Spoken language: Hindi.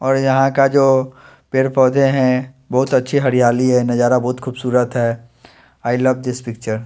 और यहाँ का जो पेड़ पौधे हैं बहुत अच्छी हरियाली है नज़ारा बहुत खूबसूरत है आई लव दिस पिक्चर --